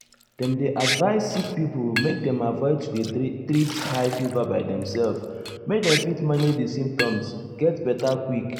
dem dey advise sick pipo make dem avoid to dey treat high fever by demself make dem fit manage di symptoms get beta quick.